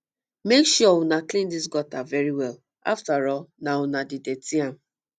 make sure una clean dis gutter very well afterall na una dey dirty am